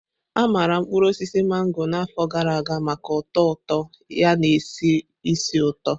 A maara mkpuru osisi mango na afọ gara aga maka ụtọ ụtọ ya na-esi ísì ụtọ.